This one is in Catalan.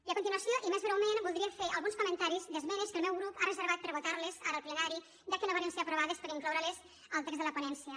i a continuació i més breument voldria fer alguns comentaris d’esmenes que el meu grup ha reservat per a votarles ara al plenari ja que no varen ser aprovades per incloureles al text de la ponència